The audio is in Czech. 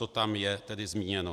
To je tam tedy zmíněno.